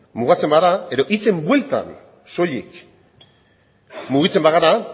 mugatzen bagara edo hitzen bueltan soilik mugitzen bagara